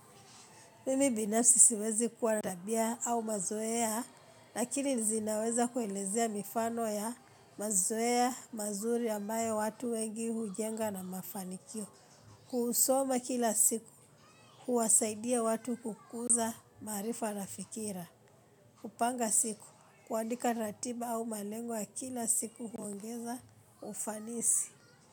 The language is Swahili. Mimi binafsi siwezi kuwa tabia au mazoea, lakini zinaweza kuelezea mifano ya mazoea, mazuri ambayo watu wengi hujenga na mafanikio. Kuusoma kila siku, kuwasaidia watu kukuza, maarifa na fikira. Kupanga siku, kuandika ratiba au malengwa ya kila siku huongeza ufanisi.